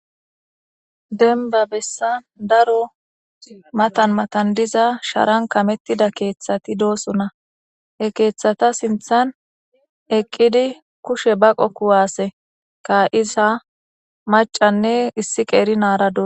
Denba bessan daro matan matan diza sharan kamettida keeththati doosona he keeththata sinthan eqqidi kushe baqo kuwaase ka isa macanne issi qeeri naara doo.